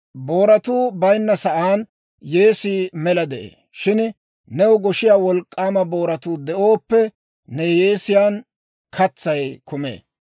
Booratuu bayinna saan yeesii mela de'ee; shin new goshiyaa wolk'k'aama booratuu de'ooppe, ne yeesiyaan katsay kumee.